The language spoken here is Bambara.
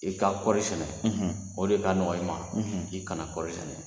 I ka kɔɔri sɛnɛ, o de ka nɔgɔ i ma, i kana kɔɔri sɛnɛ